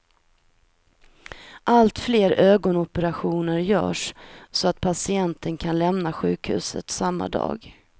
Allt fler ögonoperationer görs så att patienten kan lämna sjukhuset samma dag.